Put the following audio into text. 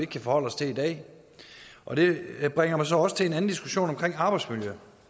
kan forholde os til i dag og det bringer mig så også over til en anden diskussion om arbejdsmiljø